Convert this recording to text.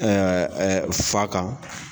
Fa kan.